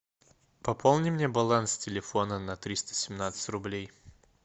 пополни мне баланс телефона на триста семнадцать рублей